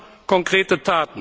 Sie brauchen konkrete Taten.